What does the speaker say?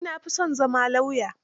Ni na fi son zama lauya.